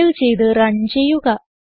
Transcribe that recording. save ചെയ്ത് run ചെയ്യുക